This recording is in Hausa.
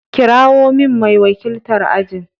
Kirawo min mai wakiltar ajin.